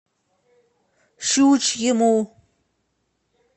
щучьему